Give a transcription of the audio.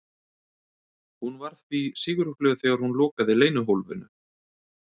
Hún var því sigurglöð þegar hún lokaði leynihólfinu.